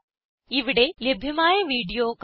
ഇവിടെ ലഭ്യമായ വീഡിയോ കാണുക